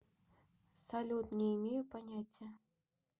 салют не имею понятия